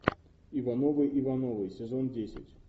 ивановы ивановы сезон десять